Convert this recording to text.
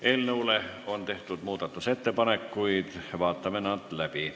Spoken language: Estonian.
Eelnõu muutmiseks on tehtud ettepanekuid, vaatame need läbi.